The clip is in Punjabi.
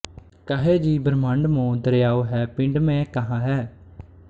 ਕਹੈ ਜੀ ਬ੍ਰਹਮੰਡ ਮੋ ਦਰੀਆਉ ਹੈ ਪਿੰਡ ਮਹਿ ਕਹਾ ਹੈ